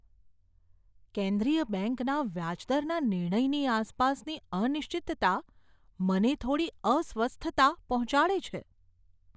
કેન્દ્રીય બેંકના વ્યાજ દરના નિર્ણયની આસપાસની અનિશ્ચિતતા મને થોડી અસ્વસ્થતા પહોંચાડે છે.